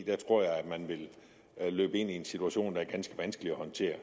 jeg tror at man vil løbe ind i en situation der er ganske vanskelig at håndtere